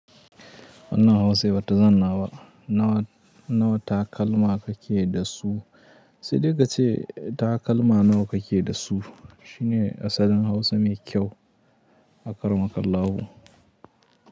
Wannan Hausa ba ta zanna ba nawa, nawa takalma kake da su. Sai dai kace takalma nawa kake da su shine asalin Hausa mai kyau akara mukallahu.